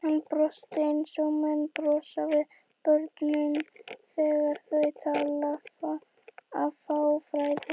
Hann brosti eins og menn brosa við börnum þegar þau tala af fáfræði.